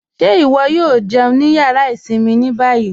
Ṣé iwọ̀ yóò jẹun ní yàrá ìṣinmí ní bayí?